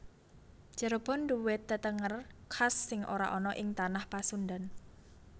Cirebon nduwe tetenger khas sing ora ana ing tanah Pasundan